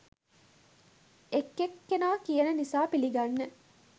එක එක් කෙනා කියන නිසා පිළිගන්න